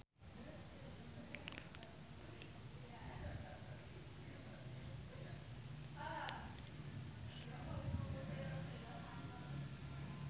Serena Williams lunga dhateng Perth